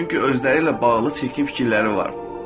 Çünki özləri ilə bağlı çirkin fikirləri var.